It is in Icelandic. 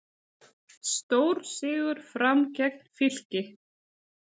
Stórsigur Fram gegn Fylki